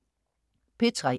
P3: